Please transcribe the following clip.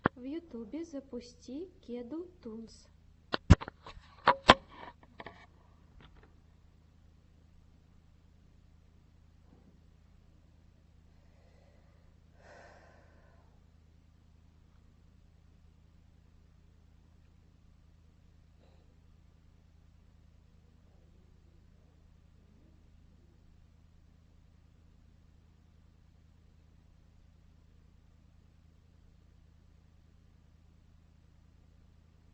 в ютюбе запусти кеду тунс